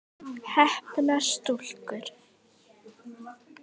Heppnar stúlkur?